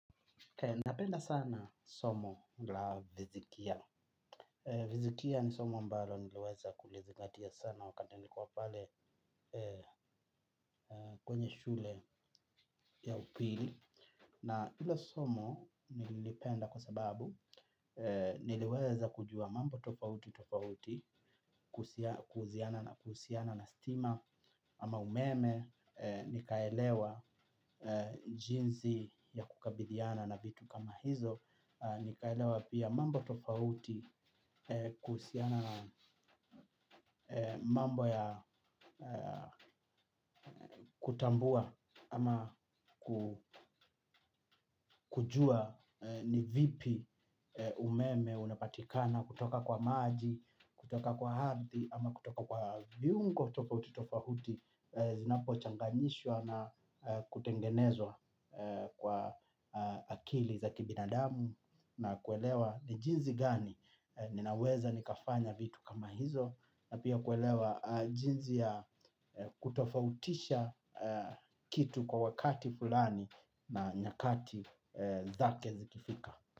Napenda sana somo la fizikia. Vizikia ni somo ambalo niliweza kulizingatia sana wakati niko pale kwenye shule ya upili. Na ilo somo nililipenda kwa sababu niliweza kujua mambo tofauti tofauti kusiana na kuhusiana na stima ama umeme nikaelewa jinsi ya kukabiliana na vitu kama hizo. Nikaelewa pia mambo tofauti kuhusiana na mambo ya kutambua ama ku kujua ni vipi umeme unapatikana kutoka kwa maji, kutoka kwa ardhi ama kutoka kwa viungo tofauti tofauti. Zinapo changanishwa na kutengenezwa kwa akili za kibinadamu. Na kuelewa ni jinsi gani ninaweza nikafanya vitu kama hizo. Na pia kuelewa jinsi ya kutofautisha kitu kwa wakati fulani na nyakati zake zikifika.